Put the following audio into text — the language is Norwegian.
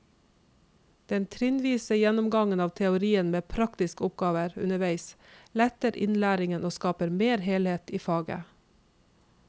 Den trinnvise gjennomgangen av teorien med praktiske oppgaver underveis letter innlæringen og skaper mer helhet i faget.